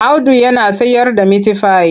Audu yana sayarda mitifai.